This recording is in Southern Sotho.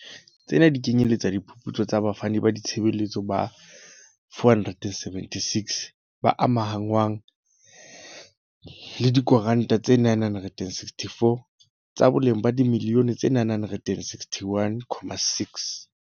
Tsena di kenyeletsa diphuputso tsa bafani ba ditshebeletso ba 476, ba amahanngwang le diko ntraka tse 964, tsa boleng ba dimiliyone tse R961.6.